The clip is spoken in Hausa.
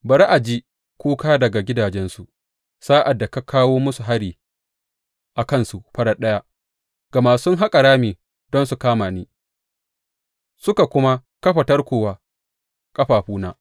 Bari a ji kuka daga gidajensu sa’ad da ka kawo masu hari a kansu farat ɗaya, gama sun haƙa rami don su kama ni suka kuma kafa tarko wa ƙafafuna.